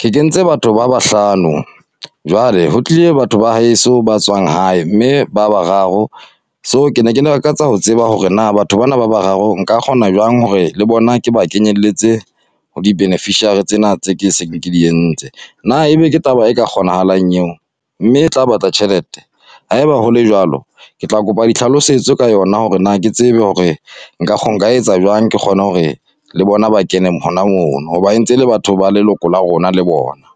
Ke kentse batho ba bahlano jwale ho tlile batho ba heso ba tswang hae, mme ba bararo. So ke ne ke lakatsa ho tseba hore na batho bana ba bararo nka kgona jwang hore le bona ke ba kenyelletse ho di-beneficiary tsena, tse ke se ke di entse. Na ebe ke taba e ka kgonahalang eo? Mme e tla batla tjhelete? Ha eba hole jwalo, ke tla kopa di hlalosetso ka yona hore na ke tsebe hore, nka nka etsa jwang? Ke kgone hore le bona ba kene hona mono. Ho ba e ntse e le batho ba leloko la rona le bona.